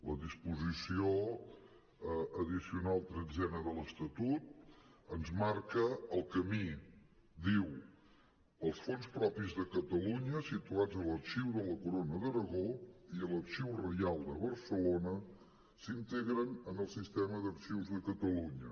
la disposició addicional tretzena de l’estatut ens marca el camí diu els fons propis de catalunya situats a l’arxiu de la corona d’aragó i a l’arxiu reial de barcelona s’integren en el sistema d’arxius de catalunya